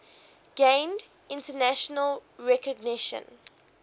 gained international recognition